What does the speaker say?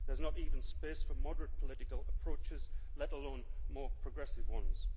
There is not even space for moderate political approaches, let alone more progressive ones.